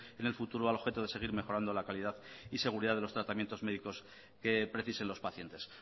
en el futuro al objeto de seguir mejorando la calidad y seguridad de los tratamientos médicos que precisen los pacientes